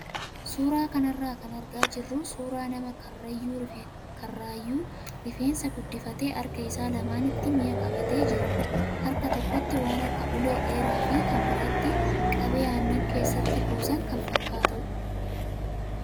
Suuraa kanarraa kan argaa jirru suuraa nama karrayyuu rifeensa guddifatee harka isaa lamaanitti mi'a qabatee jirudha. Harka tokkotti waan akka ulee dheeraa fi kan biraatti qabee aannan keessatti kuusan kan fakkaatudha.